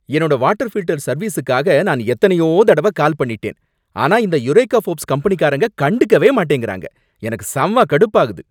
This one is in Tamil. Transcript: என்னோட வாட்டர் ஃபில்டர் சர்வீஸுக்காக நான் எத்தனையோ தடவ கால் பண்ணிட்டேன், ஆனா இந்த யுரேகா ஃபோர்ப்ஸ் கம்பெனிகாரங்க கண்டுக்கவே மாட்டேங்கறாங்க, எனக்கு செம்ம கடுப்பாகுது